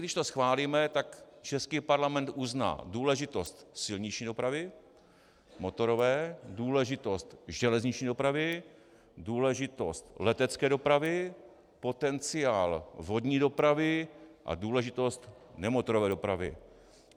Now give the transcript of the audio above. Když to schválíme, tak český Parlament uzná důležitost silniční dopravy, motorové, důležitost železniční dopravy, důležitost letecké dopravy, potenciál vodní dopravy a důležitost nemotorové dopravy.